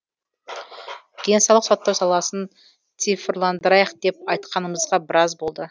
денсаулық сақтау саласын цифрландырайық деп айтқанымызға біраз болды